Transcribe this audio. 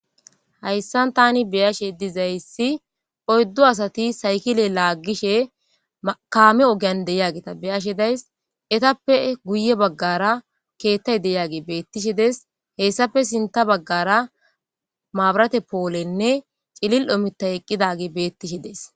Hayssan tani beyashe dizayssi oyddu asati saykile laaggishe kaame ogeyan deyageta beyashe days etappe guye baggara keettay deyagi beettishe des.hessape sinta baggara maabarate poolenne cilil7omita eqqidagi beettishe des.